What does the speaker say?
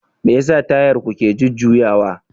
Me yasa Tayar ku ke jujjuyawa?